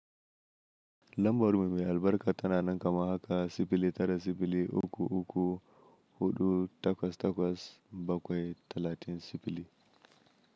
Lambar mu mai albarka tana nan kaman haka: sifili tara sifili uku uku huɗu takwas takwas bakwai talatin sifili.